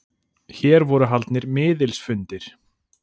Hér voru haldnir miðilsfundir.